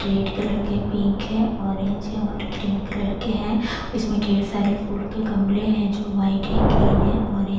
red colour के pink है orange है और ग्रीन कलर के हैं इसमें ढेर सारे फूल के गमले हैं जो वाइट है ग्रीन है ऑरेन --